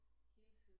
Hele tiden